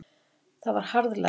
Það var harðlæst.